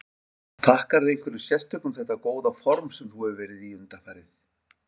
Þakkarðu einhverju sérstöku þetta góða form sem þú hefur verið í undanfarið?